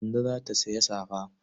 Kande za ta sayi safa.